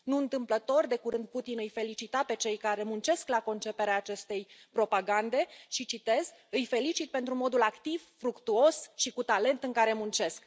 Nu întâmplător, de curând Putin îi felicita pe cei care muncesc la conceperea acestei propagande îi felicit pentru modul activ, fructuos și cu talent în care muncesc.